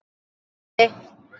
Bless í bili.